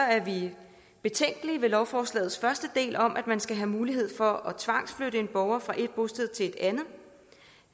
er vi betænkelige ved lovforslagets første del om at man skal have mulighed for at tvangsflytte en borger fra et bosted til et andet